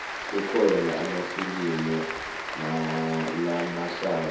kukhona amafilimu lamahlaya